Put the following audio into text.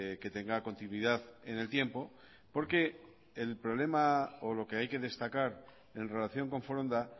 que tenga continuidad en el tiempo porque el problema o lo que hay que destacar en relación con foronda